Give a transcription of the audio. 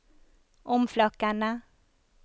omflakkende